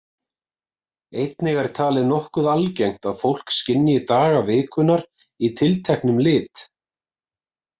Einnig er talið nokkuð algengt að fólk skynji daga vikunnar í tilteknum litum.